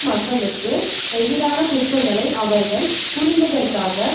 மக்களுக்கு எதிரான குற்றங்களை அவர்கள் புரிந்ததற்காக